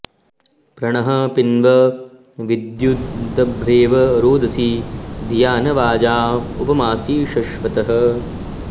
प्र णः पिन्व विद्युदभ्रेव रोदसी धिया न वाजाँ उप मासि शश्वतः